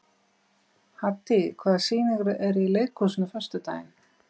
Haddý, hvaða sýningar eru í leikhúsinu á föstudaginn?